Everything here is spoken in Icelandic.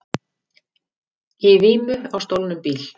Í vímu á stolnum bíl